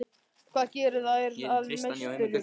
Hvað gerir þær að meisturum?